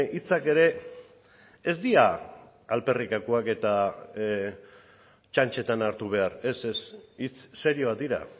hitzak ere ez dira alferrikakoak eta txantxetan hartu behar ez ez hitz serioak dira